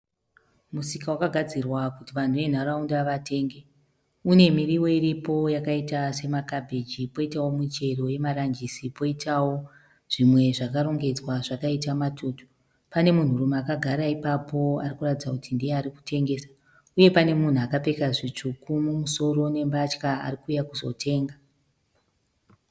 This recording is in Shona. Musika wakagadzirwa kuti vanhu vemu nharaunda vatenge . Une mumiriwo iripo yakaitawo sema kabhiji poitawo michero yakaita sema ranjisi poitawo zvimwe zvarongedzwa zvakaita matutu .Pane munhu rume akagara ipapo ari kuratidza kuti ndiye ari kutengesa . Uye pane munhu akapfeka zvitsvuku mumusoro nembatya ari kuuya kuzotenga .